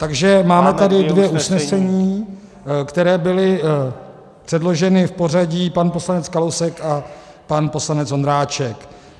Takže máme tady dvě usnesení, která byla předložena v pořadí pan poslanec Kalousek a pan poslanec Ondráček.